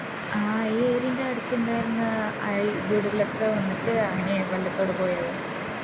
ആഹ് ഈ area ൻറെ അടുത്ത് ഇൻഡേർന്ന അയൽ വീടകളൊക്കെ വന്നിട്ട് അങ്ങനെ വെള്ളത്തോടെ പോയോ